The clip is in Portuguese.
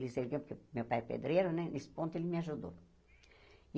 Ele servia para meu pai é pedreiro né, nesse ponto ele me ajudou.